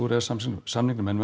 e s samningnum samningnum en við